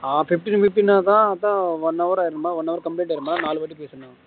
ஆஹ் fifteen fifteen தான் அதான் one hour ஆயிரும்ல one hour complete ஆயிரும்ல